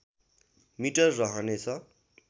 metre रहनेछ